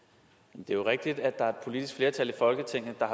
jo rigtigt at der er politisk flertal i folketinget der